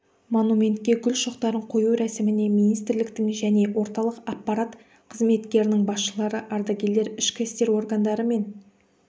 монументке гүл шоқтарын қою рәсіміне министрліктің және орталық аппарат қызметтерінің басшылары ардагерлер ішкі істер органдары мен